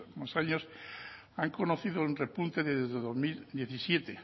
últimos años han conocido un repunto desde dos mil diecisiete